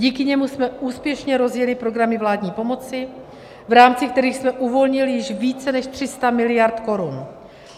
Díky němu jsme úspěšně rozjeli programy vládní pomoci, v rámci kterých jsme uvolnili již více než 300 miliard korun.